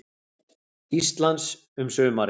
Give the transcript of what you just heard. Íslands um sumarið.